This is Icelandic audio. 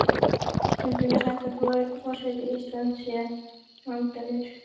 Stundum er sagt að forseti Íslands sé valdalaus.